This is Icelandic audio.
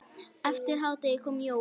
Eftir hádegi kom Jói.